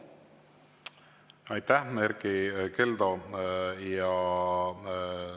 Aitäh, Erkki Keldo!